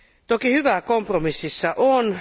Toki hyvääkin kompromississa on.